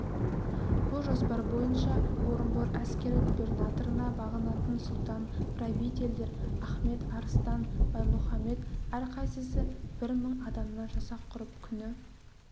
бұ жоспар бойынша орынбор әскери губернаторына бағынатын сұлтан-правительдер ахмет арыстан баймұхамед әрқайсысы бір мың адамнан жасақ құрып күні